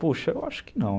Poxa, eu acho que não.